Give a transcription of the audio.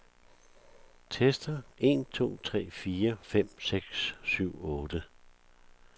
Tester en to tre fire fem seks syv otte.